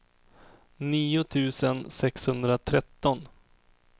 nio tusen sexhundratretton